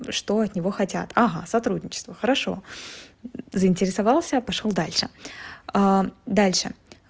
что от него хотят ага сотрудничество хорошо заинтересовался пошёл дальше а дальше